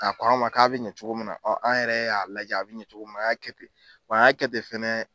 A ko an ma k'a bɛ ɲɛ cogo min na an yɛrɛ y'a lajɛ a bɛ ɲɛ an y'a kɛ ten a y'a kɛ ten fɛnɛ